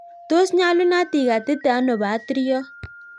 Tos nyalunot igatite anoo patiriot